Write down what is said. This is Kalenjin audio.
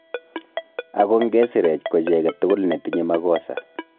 Ago nge sireech ko chi age tugul ne tinye makosa